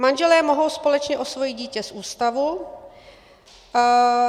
Manželé mohou společně osvojit dítě z ústavu.